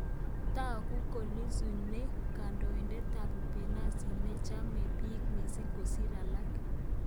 Tagu ko Lissu ne kandoindet ab upinsani ne chame biik missing kosir alaak